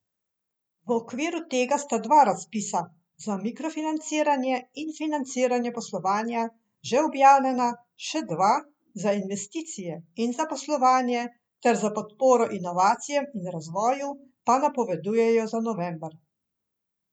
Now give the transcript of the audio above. V okviru tega sta dva razpisa, za mikrofinanciranje in financiranje poslovanja, že objavljena, še dva, za investicije in zaposlovanje ter za podporo inovacijam in razvoju, pa napovedujejo za november.